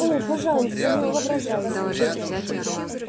о пожалуйста не воображайте